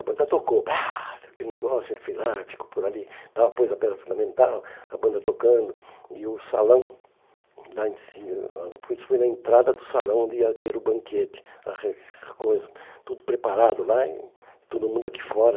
A banda tocou, pá, aquele negócio, ele foi lá, ficou por ali tal, pôs a pedra fundamental, a banda tocando, e o salão, lá em ci ãh isso foi na entrada do salão onde ia ter o banquete na re coisa, tudo preparado lá e todo mundo aqui fora.